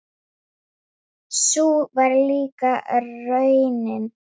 Svo spilar hún einnig golf.